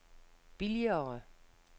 billigere